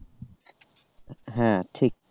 হ্যাঁ ঠিক।